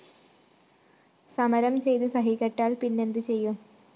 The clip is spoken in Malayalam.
സമരം ചെയ്ത്‌ സഹികെട്ടാല്‍ പിന്നെന്ത്‌ ചെയ്യും